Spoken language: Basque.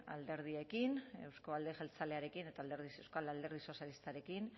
alderdiekin auzko alderdi jeltzalearekin eta euskal alderdi sozialistarekin